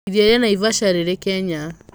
Iria rĩa Naivasha rĩrĩ Kenya.